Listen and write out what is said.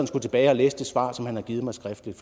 skulle tilbage og læse det svar som han har givet mig skriftligt